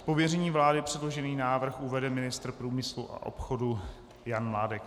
Z pověření vlády předložený návrh uvede ministr průmyslu a obchodu Jan Mládek.